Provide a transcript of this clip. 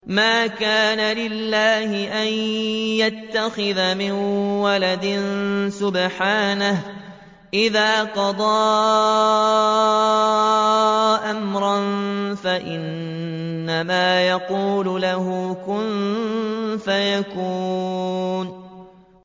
مَا كَانَ لِلَّهِ أَن يَتَّخِذَ مِن وَلَدٍ ۖ سُبْحَانَهُ ۚ إِذَا قَضَىٰ أَمْرًا فَإِنَّمَا يَقُولُ لَهُ كُن فَيَكُونُ